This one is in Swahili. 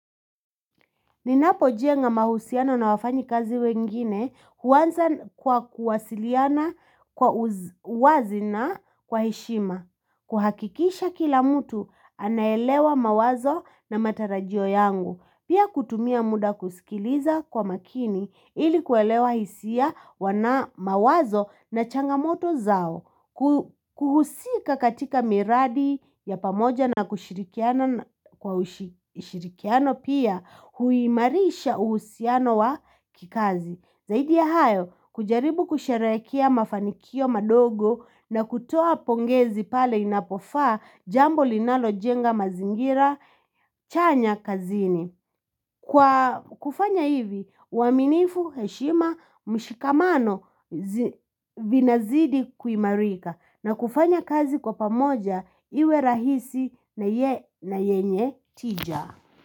Ninapo jenga mahusiano na wafanyikazi wengine huanza kwa kuwasiliana kwa uwazi na kwa heshima. Kuhakikisha kila mtu anaelewa mawazo na matarajio yangu. Pia kutumia muda kusikiliza kwa makini ili kuelewa hisia wana mawazo na changamoto zao. Kuhusika katika miradi ya pamoja na kushirikiano pia huimarisha uhusiano wa kikazi Zaidi ya hayo kujaribu kusharekea mafanikio madogo na kutoa pongezi pale inapofaa jambo linalojenga mazingira chanya kazini Kwa kufanya hivi uaminifu heshima mshikamano vinazidi kuimarika na kufanya kazi kwa pamoja iwe rahisi na yenye tija.